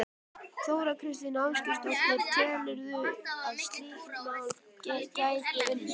Þóra Kristín Ásgeirsdóttir: Telurðu að slíkt mál gæti unnist?